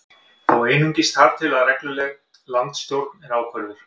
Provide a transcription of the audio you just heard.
Þó einungis þar til að regluleg landsstjórn er ákvörðuð